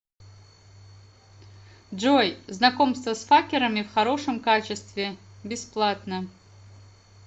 джой знакомство с факерами в хорошем качестве бесплатно